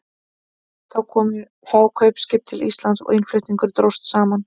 Þá komu fá kaupskip til Íslands og innflutningur dróst saman.